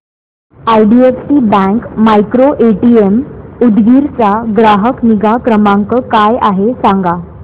IDFC bank micro ATM Udgir चा ग्राहक निगा क्रमांक काय आहे सांगा